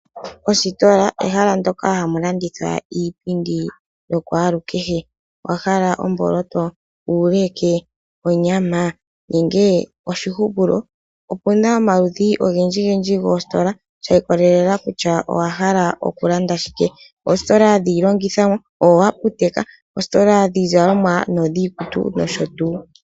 Ostola ehala ndyoka hamu landithwa iipindi ya kwalu kehe. Owa hala omboloto, uuleke, onyama nenge oshihupulo. Opuna omaludhi ogendji gendji goostola sha ikololela kutya owahala oku landa shike, oostola dhiilongithomwa, oaptek, oostola dhii zalomwa niikutu nosho tuu.